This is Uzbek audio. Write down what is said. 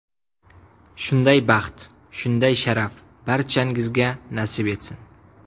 Shunday baxt, shunday sharaf barchangizga nasib etsin!